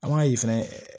An b'a ye fɛnɛ